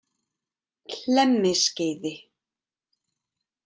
Hlemmiskeiði